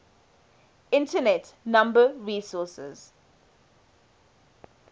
internet number resources